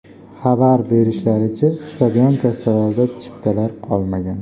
Xabar berishlaricha, stadion kassalarida chiptalar qolmagan .